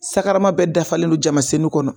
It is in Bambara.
Sakarama bɛ dafalen don jamasenu kɔnɔ